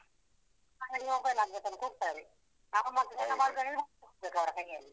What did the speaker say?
ನಮಗೆ mobile ಆಗ್ಬೇಕಂತ ಕೂಗ್ತಾರೆ. ನಾವ್ ಕೈಯ್ಯಲ್ಲಿ.